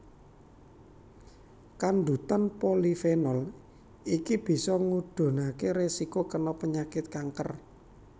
Kandhutan polifenol iki bisa ngudhunaké rèsiko kena penyakit kanker